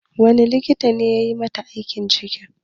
Wani likita ne yayi mata aiki ciki?